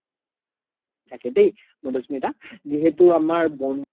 থাকে দেই মাধুস্মিতা যিহেতু আমাৰ বন্ধুত্ব